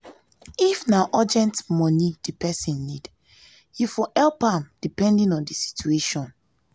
if na urgent money di person need you for help am depending on di situation